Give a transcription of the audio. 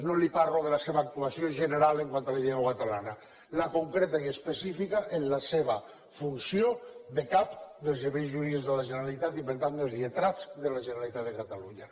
no li parlo de la seva actuació general quant a la llengua catalana la concreta i específica en la seva funció de cap dels serveis jurídics de la generalitat i per tant dels lletrats de la generalitat de catalunya